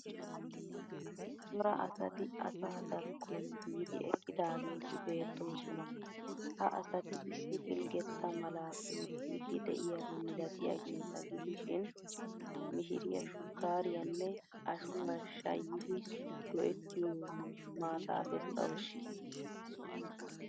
Cora asati asa darkroon biidi eqqidaageeti beettoosona. Ha asati issi pilggetta malaa oottiiddi de'yaba milatiyageeta gidishin mishiriya shukkaariyanne ashuwa shaayiiddi go'ettiyo maataa bessawuusu.